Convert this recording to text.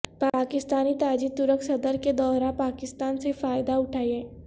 پاکستانی تاجر ترک صدر کے دورہ پاکستان سے فائدہ اٹھائیں